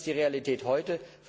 Das ist die Realität heute.